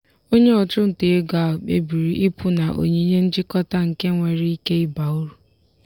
onye ọchụnta ego ahụ kpebiri ịpụ na onyinye njikọta nke nwere ike ịba uru.